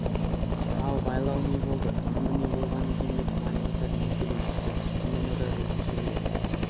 ал байлау не болды тынымы не болған екен деп майбасар ентелей түсті тынымы да өзгешелеу